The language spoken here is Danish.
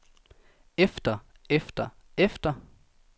efter efter efter